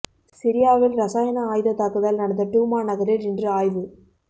சிரியாவில் ரசாயன ஆயுத தாக்குதல் நடந்த டூமா நகரில் இன்று ஆய்வு